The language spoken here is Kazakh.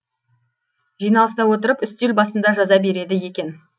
жиналыста отырып үстел басында жаза береді екен